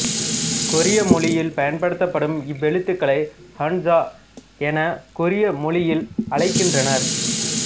கொரிய மொழியில் பயன்படுத்தப்படும் இவ்வெழுத்துக்களை ஹன்ஜா என கொரிய மொழியில் அழைக்கின்றனர்